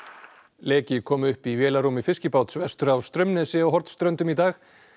leki kom upp í vélarrúmi fiskibáts vestur af Straumnesi á Hornströndum í dag